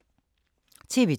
TV 2